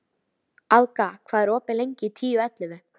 Agða, hvað er opið lengi í Tíu ellefu?